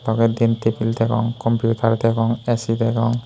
toley diyen tebil degong computer degong A_C degong.